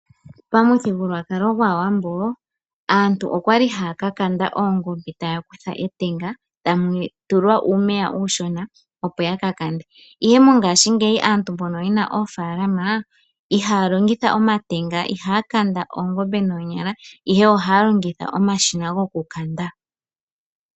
Pa muthigululwakalo gwaa Wambo, aantu okwali haya kakanda oongombe taya kutha etanga, tamu tulwa uumeya uushona opo ya kakande. Ihe mo ngaashingeyi aantu mbono yena oofalama, ihaya longitha omatenga , ihaya kanda oongombe noonyala ihe, ohaya longitha omashina go kukanda.